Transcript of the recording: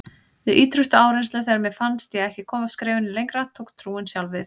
Við ýtrustu áreynslu, þegar mér fannst ég ekki komast skrefinu lengra, tók trúin sjálf við.